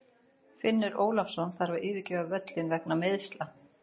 Finnur Ólafsson þarf að yfirgefa völlinn vegna meiðsla.